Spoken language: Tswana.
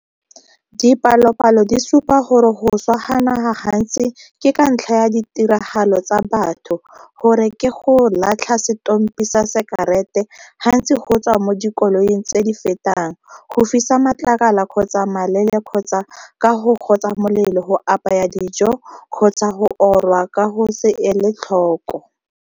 Dipalopalo di supa gore go swa ga naga gantsi ke ka ntlha ya ditiragalo tsa batho, gore ke go latlha setompi sa sekarete gantsi go tswa mo dikoloing tse di fetang, go fisa matlakala kgotsa malele kgotsa ka go gotsa molelo go apaya dijo kgotsa go orwa ka go se ele tlhoko.